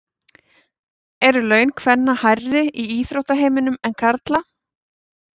Eru laun kvenna hærri í íþróttaheiminum en karla?